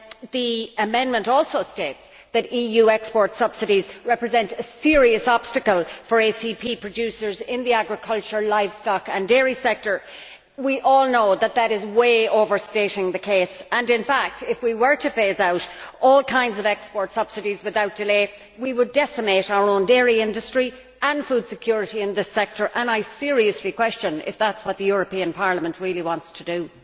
The amendment also states that EU export subsidies represent a serious obstacle for ACP producers in the agricultural livestock and dairy sector. We all know that this is a vast overstatement of the case. In fact, if we were to phase out all kinds of export subsidies without delay, we would decimate our own dairy industry and food security in this sector, and I seriously question if that is what Parliament really wants to do.